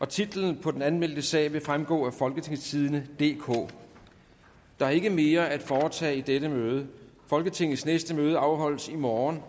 titlen på den anmeldte sag vil fremgå af folketingstidende DK der er ikke mere at foretage i dette møde folketingets næste møde afholdes i morgen